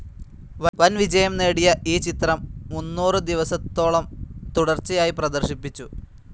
വൻ വിജയം നേടിയ ഈ ചിത്രം മൂന്നുറു ദിവസത്തോളം തുടർച്ചയായി പ്രദർശിപ്പിച്ചു.